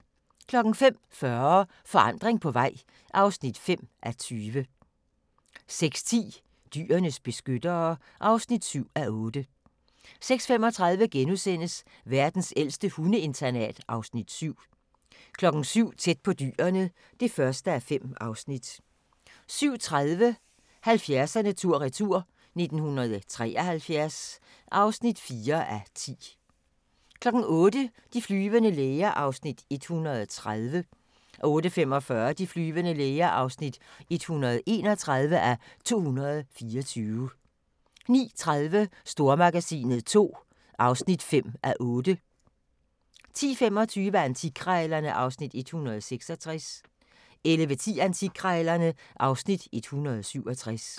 05:40: Forandring på vej (5:20) 06:10: Dyrenes beskyttere (7:8) 06:35: Verdens ældste hundeinternat (Afs. 7)* 07:00: Tæt på Dyrene (1:5) 07:30: 70'erne tur-retur: 1973 (4:10) 08:00: De flyvende læger (130:224) 08:45: De flyvende læger (131:224) 09:30: Stormagasinet II (5:8) 10:25: Antikkrejlerne (Afs. 166) 11:10: Antikkrejlerne (Afs. 167)